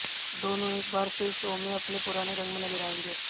दोनों एक बार फिर शो में अपने पुराने रंग में नजर आयेंगे